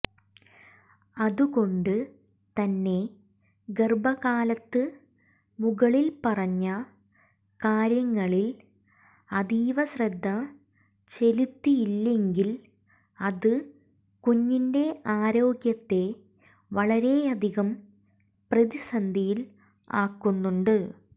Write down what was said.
അതുകൊണ്ട് തന്നെ ഗർഭകാലത്ത് മുകളിൽ പറഞ്ഞ കാര്യങ്ങളിൽ അതീവശ്രദ്ധ ചെലുത്തിയില്ലെങ്കിൽ അത് കുഞ്ഞിന്റെ ആരോഗ്യത്തെ വളരെയധികം പ്രതിസന്ധിയിൽ ആക്കുന്നുണ്ട്